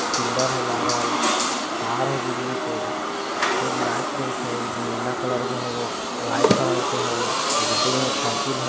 Pillar है लागल तार है बिजली के खूब लाइट देत है| नीला कलर के है एगो वाइट कलर के है दु दुगो मोटरसाइकिल है।